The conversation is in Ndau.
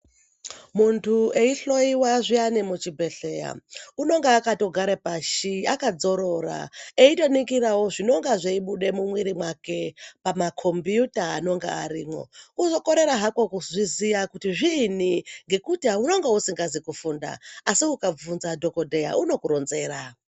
Muntu eihloyiwa zviyani muchibhedhleya unonga akatogare pashi akadzorora, eitoningirawo zvinonga zveibuda mumwiri mwake pamakombiyuta anonga arimwo. Kungokorera hako kuzviziya kuti zviinyi ngekuti unonga usingazi kufunda, asi ukavhunza dhokodheya, unokuronzera.